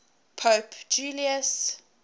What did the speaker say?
pope julius